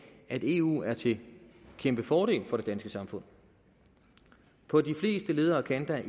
at eu er til kæmpefordel for det danske samfund på de fleste leder og kanter